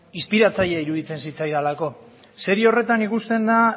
inspiratzaile iruditzen zitzaidalako serie horretan ikusten da